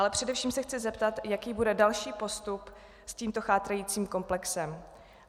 Ale především se chci zeptat, jaký bude další postup s tímto chátrajícím komplexem.